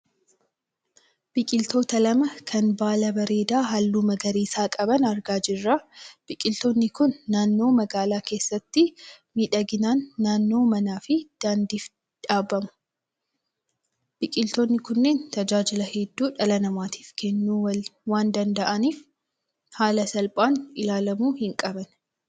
Biqiloota lama kan baala bareedaa halluu magariisa qaban argaa jirra. Biqiloonni kun naannoo magaalaa keessatti miidhagina naannoo manaa fi daandiif dhaabamuu. Biqiloonni kunneen tajaajila hedduu dhala namaaf kennuu waan danda'aaniif haala salphaan ilaalamuu hin qaban.